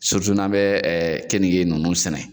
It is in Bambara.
n'an bɛ kenige ninnu sɛnɛ.